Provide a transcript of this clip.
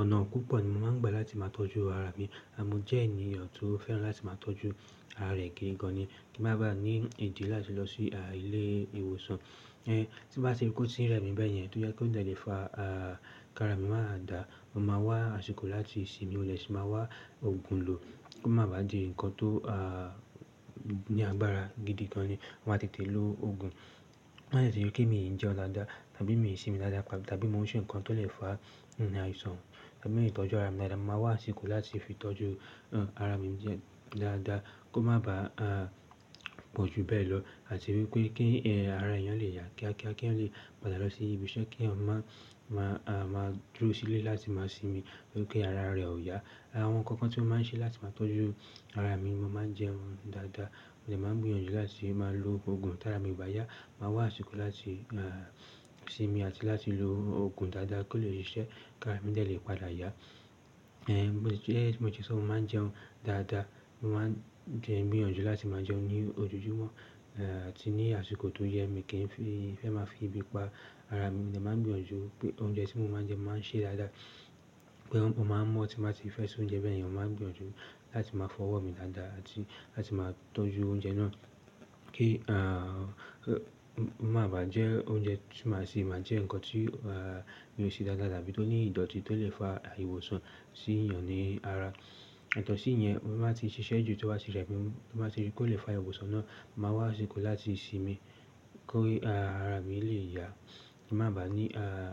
Ọ̀nà púpọ̀ ni mo máa ń gba láti máa tọ́jú ara mi. Mo jẹ́ ènìyàn tó fẹ́ràn láti máa tọ́jú ara rẹ̀ gidi gan ni. Kí n má ba ní ìdí láti lọ sí ilé ìwòsàn. Tí n bá ti rí pé ó tín rẹ mi bẹ́yẹn, tó jẹ́ pé ó dẹ́ lẹ̀ fa kí ara mi máa dà, mo máa wá àsìkò láti sinmi, mo dẹ̀ sì máa wá òògùn lò kó má ba di ǹkan tó ní agbára gidi gan ni. Mo máa tètè lo òògùn. Tó bá dẹ̀ é ṣe kí mi ì jẹun daadaá, tàbí mi ì sinmi dáadáa, tàbí mo ń ṣe ǹkan tó lè fa àìsàn, tàbí mi tọ́jú ara mi dáadáa, mo máa wá àsìkò láti fi tọ́jú ara mi dáadáa kó má ba pọ̀jù bẹ́ẹ̀ lọ. Àti wípé kí ara èèyàn lè yà kíákíá, kí èèyàn lè padà lọ sí ibi iṣẹ́ kí èèyàn má dúró sílé láti máa sinmi nítorí pé ara rẹ̀ ò yá. Àwọn ǹkan kan tí mo máa ń ṣe láti máa tọ́jú ara mi, mo máa ń jẹun dáadáa, mo dẹ̀ máa ń gbìyànjú láti máa lo òògùn tí ara mi ò bá yá. Màá wá àsìkò láti sinmi àti láti lo òògùn dáadáa kó lè si ṣẹ́ kí ara mi dẹ̀lé padà yá. Gẹ́gẹ́ bí mo ti sọ mo máa ń jẹun dáadáa, mo máa ń jẹun gbìyànjú láti máa jẹun ní ojojúmọ́ àti ní àsìkò tó yẹ mi kin fẹ́ máa fi ebi pa ara mi. Mo dẹ̀ máa ń gbìyànjú pé oúnjẹ tí mo máa ń jẹ mo máa ń ṣe dáadáa. Pé mo máa mọ́ tí mo bá ti fẹ́ ṣe oúnjẹ bẹ́ẹ̀yẹ̀n, mo máa ń gbìyànjú láti máa fọwọ́ mi dáadáa àti láti máa tọ́jú oúnjẹ náà kí a mo má bà jẹ oúnjẹ tí màá sì máa jẹ ǹkan tí yóò ṣe dáadáa tàbí tó ní ìdọ̀tí tó lè fa àìwòsàn sí èèyàn ní ara. Yàtọ̀ sí ìyẹn, mo maá ti ṣiṣẹ́ jù tówà tí rẹ mi, tí mo bá ti rí kó lè fa àìwòsàn náà, màá wá àsìkò láti sinmi, kó, a, ara mi lè yá. Kí mà bá ní